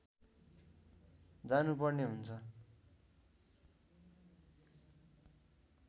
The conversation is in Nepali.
जानुपर्ने हुन्छ